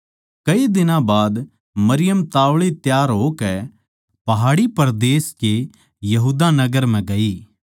कई दिनां बाद मरियम ताव्ली तैयार होकै पहाड़ी परदेस के यहूदा नगर म्ह ग्यी